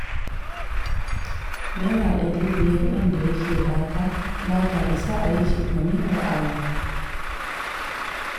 Naira ɗari biyar ɗin da yake ba ta, ba ta isa a yi cefane da awo